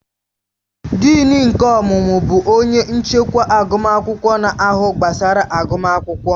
Dịịn nke ọmụmụ bụ onye nchịkwa agụmakwụkwọ na-ahụ gbasara agụmakwụkwọ